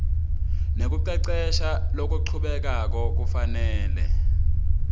nekucecesha lokuchubekako kufanele